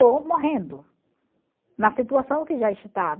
ou morrendo, na situação que já estava.